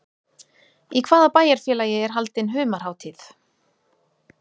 Í hvaða bæjarfélagi er haldin humarhátíð?